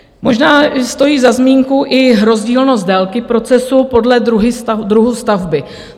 Možná stojí za zmínku i rozdílnost délky procesu podle druhu stavby.